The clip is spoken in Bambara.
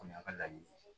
O kɔni y'a ka laɲini ye